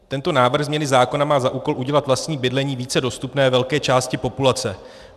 Tento návrh změny zákona má za úkol udělat vlastní bydlení více dostupným velké části populace.